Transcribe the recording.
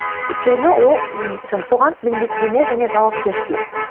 өйткені ол соған міндеттеме және жауапкершілік